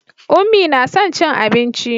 Unmie na son cin abinci.